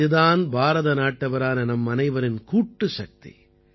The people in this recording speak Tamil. இது தான் பாரதநாட்டவரான நம்மனைவரின் கூட்டுசக்தி